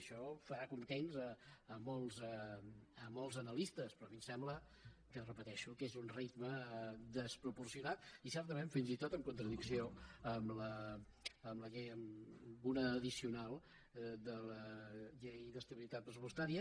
això fa contents molts analistes però a mi em sembla ho repeteixo que és un ritme desproporcionat i certament fins i tot en contradicció amb una addicional de la llei d’estabilitat pressupostària